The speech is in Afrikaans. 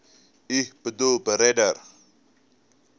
u boedel beredder